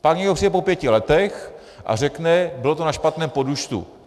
Pak někdo přijde po pěti letech a řekne: bylo to na špatném podúčtu.